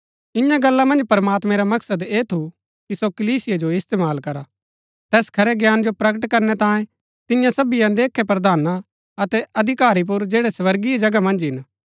इन्या गल्ला मन्ज प्रमात्मैं रा मकसद ऐह थू कि सो कलीसिया जो इस्तेमाल करा तैस खरै ज्ञान जो प्रकट करनै तांये तिन्या सबी अनदेखै प्रधाना अतै अधिकारी पुर जैड़ै स्वर्गीय जगह मन्ज हिन